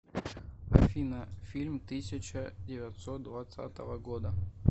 афина фильм тысяча девятьсот двадцатого года